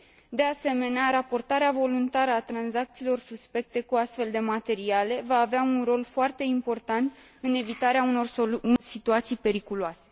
De asemenea, raportarea voluntară a tranzacțiilor suspecte cu astfel de materiale va avea un rol foarte important în evitarea unor situații periculoase.